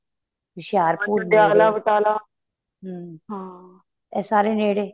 ਏਹ ਸਾਰੇ ਨੇੜੇ